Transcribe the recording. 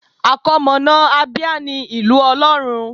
Àkọmọ̀nà Abia ní Ìlú Ọlọ́run.